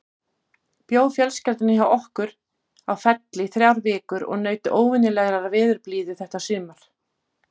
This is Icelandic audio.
Bjó fjölskyldan hjá okkur á Felli í þrjár vikur og naut óvenjulegrar veðurblíðu þetta sumar.